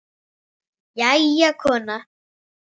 Jæja, kona.